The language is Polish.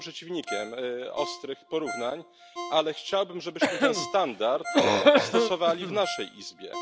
Ja jestem przeciwnikiem ostrych porównań, ale chciałbym, żebyśmy ten standard stosowali w naszej Izbie.